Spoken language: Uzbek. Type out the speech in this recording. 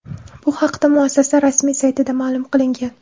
Bu haqda muassasa rasmiy saytida ma’lum qilingan .